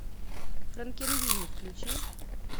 франкенвини включи